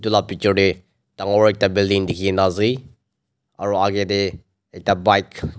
itu la bitor de dangor ekta building dikhi na ase aro age te ekta bike --